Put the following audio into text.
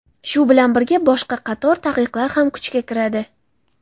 Shu bilan birga, boshqa qator taqiqlar ham kuchga kiradi .